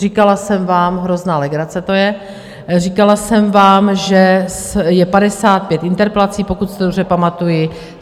Říkala jsem vám - hrozná legrace, to je - říkala jsem vám, že je 55 interpelací, pokud si to dobře pamatuji.